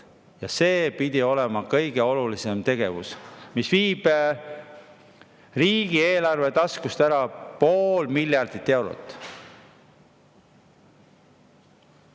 Ja see pidi olema kõige olulisem tegevus, mis viib riigieelarve taskust ära pool miljardit eurot.